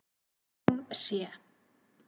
Hún sé